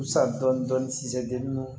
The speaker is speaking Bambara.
San dɔɔni dɔɔni sisan deli